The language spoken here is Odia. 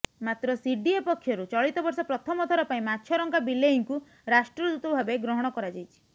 ମାତ୍ର ସିଡ଼ିଏ ପକ୍ଷରୁ ଚଳିତବର୍ଷ ପ୍ରଥମଥର ପାଇଁ ମାଛରଙ୍କା ବିଲେଇଙ୍କୁ ରାଷ୍ଟ୍ରଦୂତ ଭାବେ ଗ୍ରହଣ କରାଯାଇଛି